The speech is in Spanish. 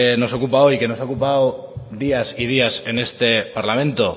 nos ocupa hoy que nos ha ocupado días y días en este parlamento